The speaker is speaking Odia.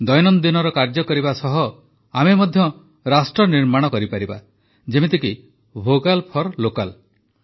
ଦୈନନ୍ଦିନର କାର୍ଯ୍ୟ କରିବା ସାଙ୍ଗରେ ମଧ୍ୟ ଆମେ ରାଷ୍ଟ୍ର ନିର୍ମାଣ କରିପାରିବା ଯେମିତିକି ଭୋକାଲ୍ ଫର୍ ଲୋକାଲ୍